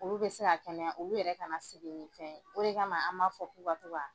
Olu bɛ se ka kɛnɛya olu yɛrɛ kana segin ni fɛn ye o de kama an ma fɔ k'u ka to ka.